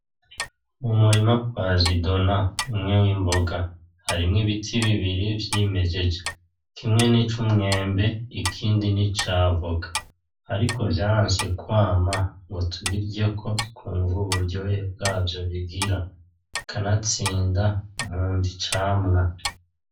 Umurima kwa zidona ,umwe w'imboga harimwo Ibiti bibiri vyimejeje kimwe nic'umwembe ikindi nic'avoka, ariko vyaronse kwama ngo tubiryeko twumve uburyohe bwavyo bigira kanatsinda nkunda icamwa.